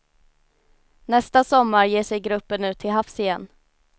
Nästa sommar ger sig gruppen ut till havs igen.